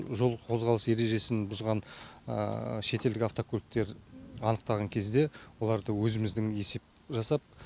жол қозғалыс ережесін бұзған шетелдік автокөліктер анықтаған кезде оларды өзіміздің есеп жасап